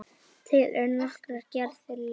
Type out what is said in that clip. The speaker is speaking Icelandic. Til eru nokkrar gerðir leturs